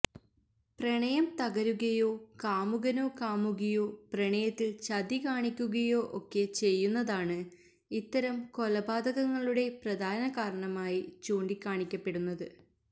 പ്രണയം തകരുകയോ കാമുകനോ കാമുകിയോ പ്രണയത്തില് ചതികാണിക്കുകയോ ഒക്കെ ചെയ്യുന്നതാണ് ഇത്തരം കൊലപാതകങ്ങളുടെ പ്രധാന കാരണമായി ചൂണ്ടിക്കാണിക്കപ്പെടുന്നത്